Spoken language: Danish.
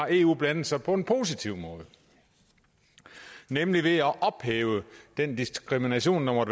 at eu har blandet sig på en positiv måde nemlig ved at ophæve den diskrimination af